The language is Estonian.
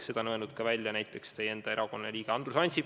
Seda on öelnud ka teie enda erakonna liige Andrus Ansip.